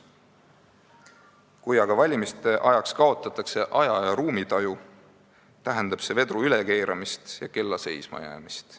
Kui aga valimiste ajaks kaotatakse aja- ja ruumitaju, tähendab see vedru ülekeeramist ja kella seismajäämist.